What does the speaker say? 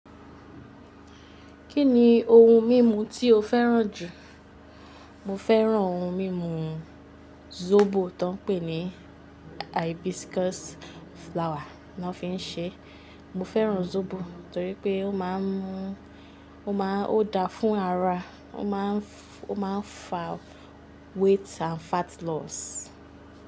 Kí ni ohun mímu tí o fẹ́ràn jù? Mo fẹ́ràn ohun mímu sóbò tó ń pè ní hibiscus flower ló fi ń ṣe é. Mo fẹ́ràn sóbò torí pé ó má ń mú, ó má ń, o dá fún ara, ó má ń, ó má ń fa weight and fat loss.